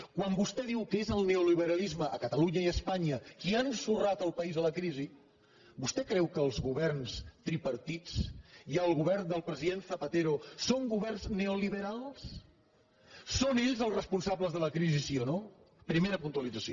quan vostè diu que és el neoliberalisme a catalunya i a espanya qui ha ensorrat el país a la crisi vostè creu que els governs tripartits i el govern del president zapatero són governs neoliberals són ells els responsables de la crisi sí o no primera puntualització